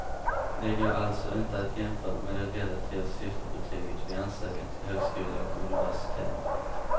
De går alltså inte att jämföra med det relativa sifferbetyget vid ansökan till högskola och universitet.